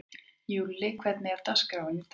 Júlli, hvernig er dagskráin í dag?